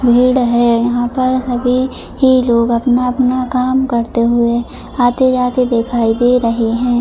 भीड़ है यहां पर सभी ही लोग आपने आपने काम करते हुए आते जाते दिखाई दे रहे हैं।